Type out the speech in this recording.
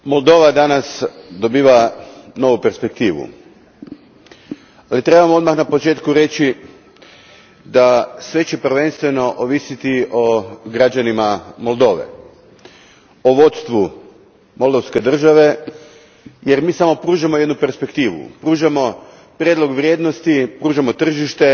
Gospodine predsjedniče, Moldova danas dobiva novu perspektivu, ali trebamo odmah na početku reći da će sve prvenstveno ovisiti o građanima Moldove, o vodstvu moldovkse države, jer mi samo pružamo jednu perspektivu, pružamo prijedlog vrijednosti, pružamo tržište,